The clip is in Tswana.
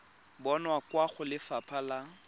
bonwa kwa go lefapha la